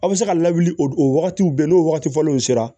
A bɛ se ka lawuli o wagatiw bɛɛ n'o wagati fɔlenw sera